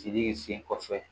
Tigi ye sen kɔfɛ